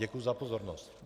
Děkuji za pozornost.